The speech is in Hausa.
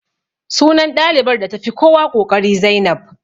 Sunan ɗalibar da ta fi kowa ƙoƙari Zainab